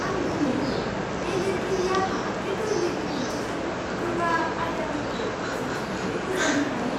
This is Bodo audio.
आं गोमोयो, बे लिरगिरिया माब्रै गोरलै बिदिन्थिजों गोब्राब आयदाफोरखौ जुथेयै बुजायनो हायो!